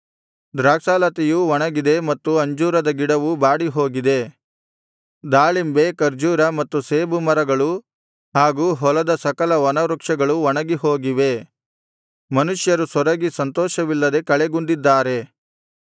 ದ್ರಾಕ್ಷಾಲತೆಯು ಒಣಗಿದೆ ಮತ್ತು ಅಂಜೂರದ ಗಿಡವು ಬಾಡಿಹೋಗಿದೆ ದಾಳಿಂಬೆ ಖರ್ಜೂರ ಮತ್ತು ಸೇಬು ಮರಗಳು ಹಾಗು ಹೊಲದ ಸಕಲ ವನವೃಕ್ಷಗಳು ಒಣಗಿ ಹೋಗಿವೆ ಮನುಷ್ಯರು ಸೊರಗಿ ಸಂತೋಷವಿಲ್ಲದೆ ಕಳೆಗುಂದಿದ್ದಾರೆ